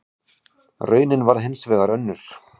Raunin varð hins vegar önnur.